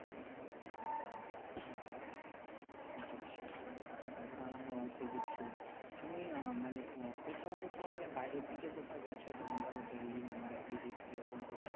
সেটাই সেটাই আঃ হ্যাঁ সেইদিকে সুবিধা তুমি মানে কোথাও কোথাও মানে বাহিরের দিকে কোথাও গেছো যেমন ধরো delhi mumbai এই দিক এরকম কোথাও